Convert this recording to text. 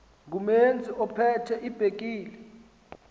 ngumeazi ophethe ibhekile